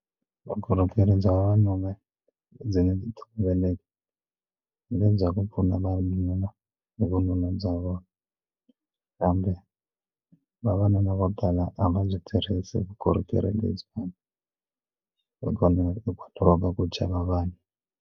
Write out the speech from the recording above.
Vukorhokeri bya vavanuna ndzi nge ku pfuna vavanuna hi vununa bya vona kambe vavanuna vo tala a va byi tirhisi vukorhokeri lebyiwani hikona eka chava vanhu.